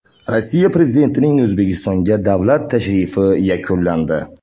Rossiya prezidentining O‘zbekistonga davlat tashrifi yakunlandi.